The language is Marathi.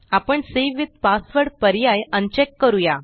आपण सावे विथ पासवर्ड पर्याय अनचेक करूया